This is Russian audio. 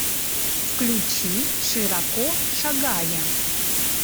включи широко шагая